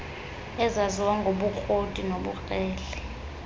ezaziwa ngobukroti nobukrele